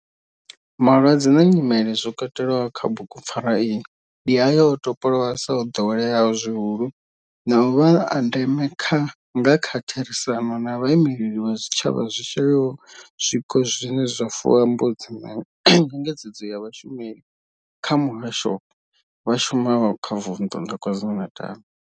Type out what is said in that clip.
Malwadze na nyimele zwi katelwaho kha bugu pfarwa iyi ndi ayo o topolwaho sa o doweleaho zwihulu na u vha a ndeme nga kha therisano na vhaimeleli vha zwitshavha zwi shayaho.